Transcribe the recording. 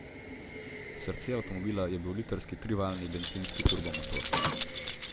Srce avtomobila je bil litrski trivaljni bencinski turbomotor.